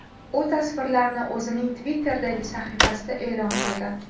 U tasvirlarni o‘zining Twitter’dagi sahifasida e’lon qildi .